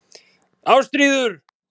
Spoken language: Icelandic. Ástríður